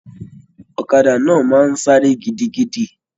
Ọ̀kàdà náà máa n sáré gidigidi.